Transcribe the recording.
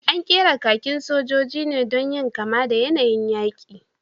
An ƙera kakin sojoji ne don yin kama da yanayin yaƙi